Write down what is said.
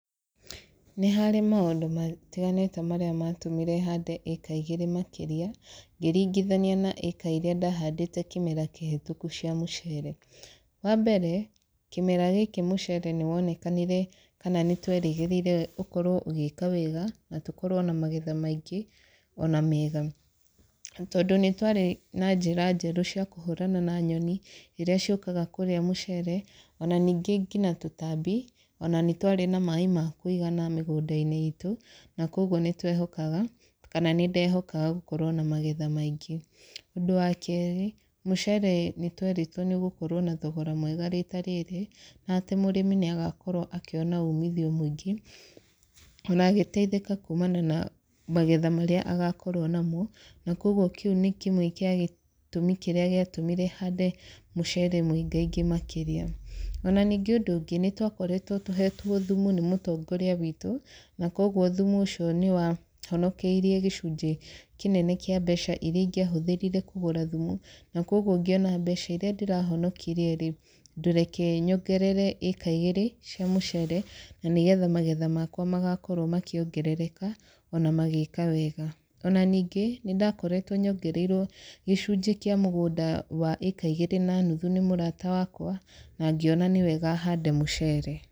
Nĩ harĩ maũndũ matiganĩte marĩa matũmire hande ĩka igĩrĩ makĩria, ngĩringithania na ĩka irĩa ndahandĩte kĩmera kĩhĩtũku cia mũcere. Wa mbere, kĩmera gĩkĩ mũcere nĩ wonekanire kana nĩ twerĩgĩrĩire ũkorwo ũgĩka wega, na tũkorwo na magetha maingĩ, ona mega. Tondũ nĩ twarĩ na njĩra njerũ cia kũhũrana na nyoni, irĩa ciũkaga kũrĩa mũcere, ona ningĩ ngina tũtambi, ona nĩ twarĩ na maĩ ma kũigana mĩgũnda-inĩ itũ, na kũguo nĩ twehokaga kana nĩ ndehokaga gũkorwo na magetha maingĩ. Ũndũ wa kerĩ, mũcere nĩ tũerĩtwo nĩ ũgũkorwo na thogora mwega riita rĩrĩ, na atĩ mũrĩmi nĩ agakorwo akĩona uumithio mũingĩ, ona agĩteithĩka kumana na magetha marĩa agakorwo namo. Na kũguo kĩu nĩ kĩmwe kĩa gĩtũmi kĩrĩa gĩatũmire hande mũcere mũingaingi makĩria. Ona ningĩ ũndũ ũngĩ, nĩ twakoretwo tũhetwo thumu nĩ mũtongoria witũ, na kũguo thumu ũcio nĩ wahonokeirie gĩcunjĩ kĩnene kĩa mbeca irĩa ingĩahũthĩrire kũgũra thumu. Na kũguo ngĩona mbeca irĩa ndĩrahonokirie rĩ, ndũreke nyongerere ĩka igĩrĩ cia mũcere, na nĩgetha magetha makwa magakorwo makĩongerereka, ona magĩka wega. Ona ningĩ, nĩ ndakoretwo nyongereirwo gĩcunjĩ kĩa mũgũnda wa ĩka igĩrĩ na nuthu nĩ mũrata wakwa, na ngĩona nĩ wega hande mũcere.